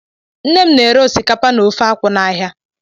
Nne m na-ere osikapa na ofe akwụ n'ahịa